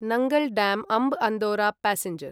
Nangal dam Amb Andaura passenger